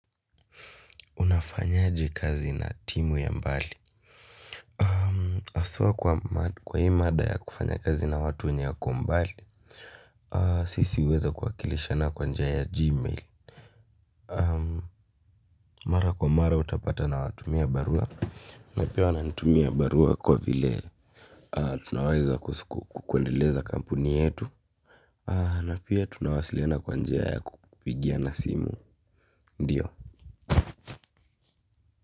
Unafanyaje kazi na timu ya mbali? Asua kwa hii mada ya kufanya kazi na watu wenyea kombali. Sisi huweza kuwakilishana kwa njia ya gmail. Mara kwa mara utapata na watumia barua. Na pia wananitumia barua kwa vile tunaweza kuendeleza kampuni yetu. Na pia tunawasiliana kwanjia ya kupigia na simu. Ndiyo.